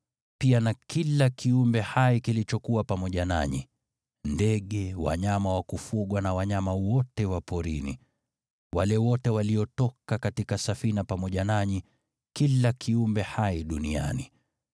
pia na kila kiumbe hai kilichokuwa pamoja nanyi: Ndege, wanyama wa kufugwa na wanyama wote wa porini, wale wote waliotoka katika safina pamoja nanyi, kila kiumbe hai duniani.